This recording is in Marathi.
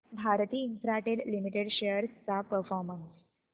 भारती इन्फ्राटेल लिमिटेड शेअर्स चा परफॉर्मन्स